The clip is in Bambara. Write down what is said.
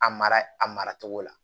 A mara a mara cogo la